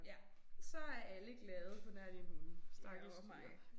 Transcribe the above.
Ja så er alle glade pånær dine hunde. Stakkels dyr